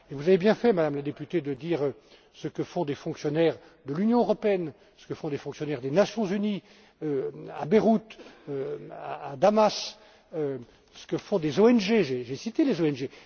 Vous avez bien fait, Madame la députée, de dire ce que font des fonctionnaires de l'Union européenne, ce que font des fonctionnaires des Nations Unies à Beyrouth, à Damas, et ce que font des ONG j'ai cité les ONG.